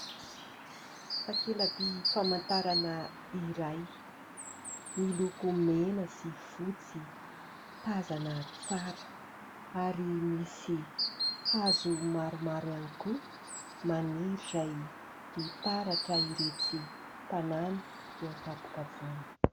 Takela-by famantarana iray, miloko mena sy fotsy, tazana tsara ary misy hazo maromaro ihany koa maniry, izay mitaratra iretsy tanàna eo an-tampokavoana.